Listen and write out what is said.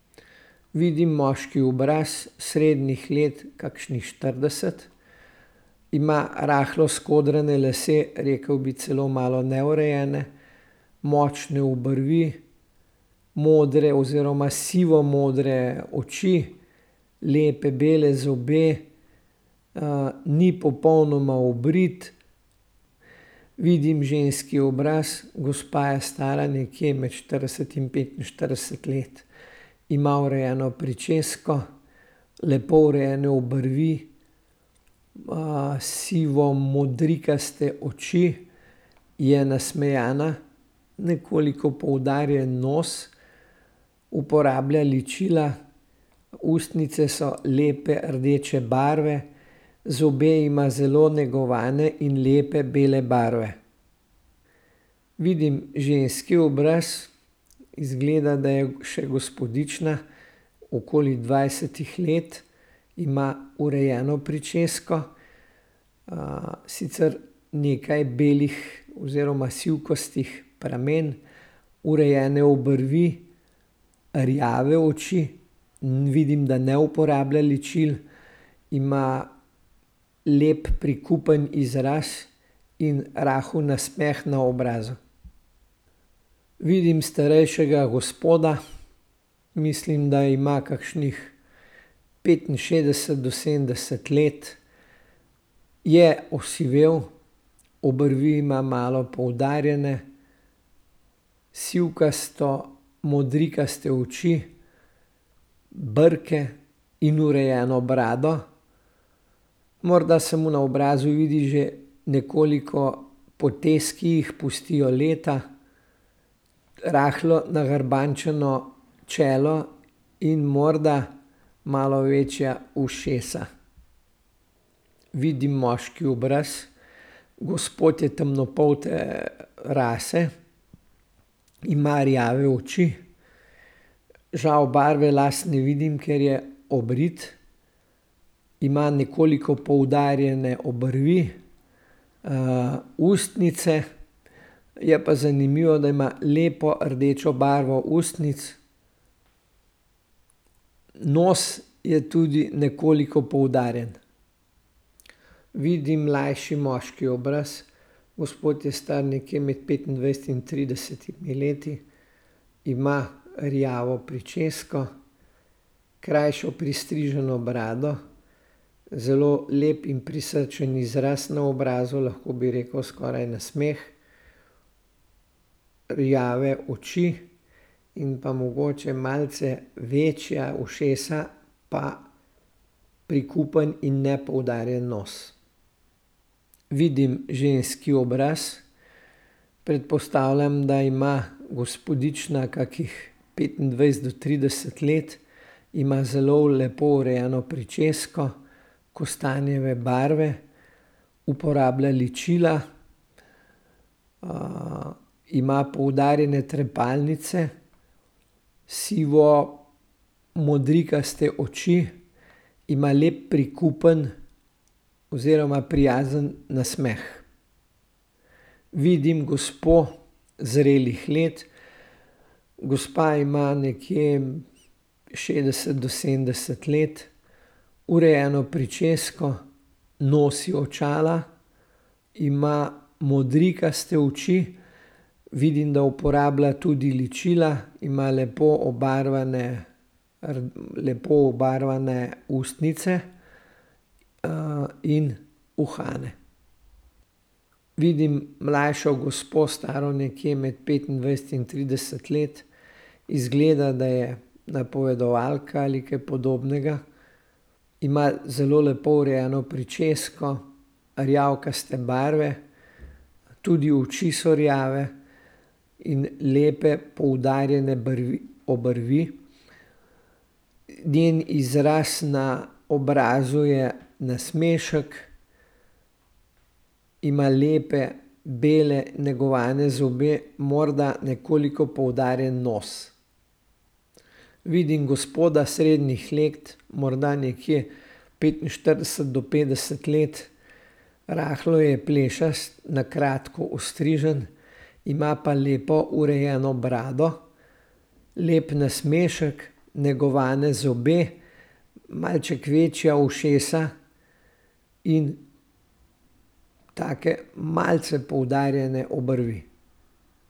Vidim moški obraz, srednjih let kakšnih štirideset, ima rahlo skodrane lase, rekel bi celo malo neurejene, močne obrvi, modre oziroma sivo modre oči, lepe bele zobe. ni popolnoma obrit. Vidim ženski obraz, gospa je stara nekje med štirideset in petinštirideset let. Ima urejeno pričesko, lepo urejene obrvi, sivo modrikaste oči. Je nasmejana, nekoliko poudarjen nos, uporablja ličila, ustnice so lepe rdeče barve. Zobe ima zelo negovane in lepe bele barve. Vidim ženski obraz, izgleda, da je še gospodična, okoli dvajsetih let, ima urejeno pričesko, sicer nekaj belih oziroma sivkastih pramenov, urejene obrvi, rjave oči, vidim, da ne uporablja ličil, ima lep, prikupen izraz in rahel nasmeh na obrazu. Vidim starejšega gospoda, mislim, da ima kakšnih petinšestdeset do sedemdeset let. Je osivel, obrvi ima malo poudarjene, sivkasto modrikaste oči, brke in urejeno brado. Morda se mu na obrazu vidi že nekoliko potez, ki jih pustijo leta. Rahlo nagrbančeno čelo in morda malo večja ušesa. Vidim moški obraz. Gospod je temnopolte rase, ima rjave oči, žal barve las ne vidim, ker je obrit. Ima nekoliko poudarjene obrvi, ustnice je pa zanimivo, da ima lepo rdečo barvo ustnic. Nos je tudi nekoliko poudarjen. Vidim mlajši moški obraz. Gospod je star nekje med petindvajset in tridesetimi leti. Ima rjavo pričesko, krajšo pristriženo brado, zelo lep in prisrčen izraz na obrazu, lahko bi rekel skoraj nasmeh. Rjave oči in pa mogoče malce večja ušesa pa prikupen in nepoudarjen nos. Vidim ženski obraz. Predpostavljam, da ima gospodična kakih petindvajset do trideset let. Ima zelo lepo urejeno pričesko, kostanjeve barve. Uporablja ličila, ima poudarjene trepalnice, sivo modrikaste oči. Ima lep prikupen oziroma prijazen nasmeh. Vidim gospo zrelih let. Gospa ima nekje šestdeset do sedemdeset let. Urejeno pričesko, nosi očala, ima modrikaste oči. Vidim, da uporablja tudi ličila. Ima lepo obarvane, lepo obarvane ustnice. in uhane. Vidim mlajšo gospo, staro nekje med petindvajset in trideset let. Izgleda, da je napovedovalka ali kaj podobnega. Ima zelo lepo urejeno pričesko, rjavkaste barve, tudi oči so rjave in lepe poudarjene obrvi. Njen izraz na obrazu je nasmešek. Ima lepe bele negovane zobe, morda nekoliko poudarjen nos. Vidim gospoda, srednjih let, morda nekje petinštirideset do petdeset let. Rahlo je plešast, na kratko ostrižen, ima pa lepo urejeno brado, lep nasmešek, negovane zobe, malček večja ušesa in take malce poudarjene obrvi.